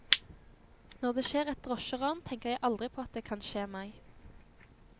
Når det skjer et drosjeran, tenker jeg aldri på at det kan skje meg.